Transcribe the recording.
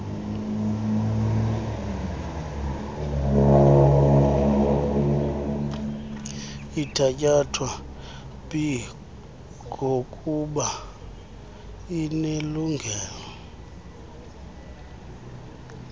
ithatyathwa bgokuba inelungelo